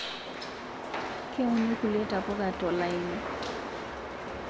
Keuni kulie tapuka tolaini